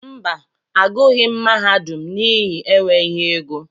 Mba, agughi m mahadum n'ihi enweghị égo.